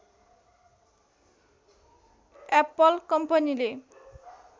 Apple कम्पनीले